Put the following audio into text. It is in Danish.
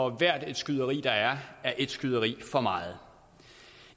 at hvert skyderi der er er ét skyderi for meget